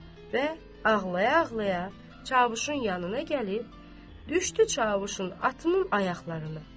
Və ağlaya-ağlaya Çavuşun yanına gəlib, düşdü Çavuşun atının ayaqlarına.